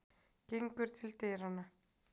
Gengur til dyranna.